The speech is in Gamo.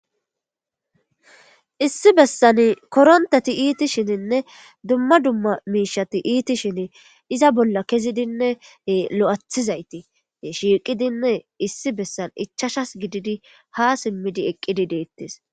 issi bessan korontati iiti shininne dumma dumma miishati iiti shin iza bolla kezidinne lo7athizayti shiiqidinne issi bessan ichashas gididi ha simmidi eqqidi deettes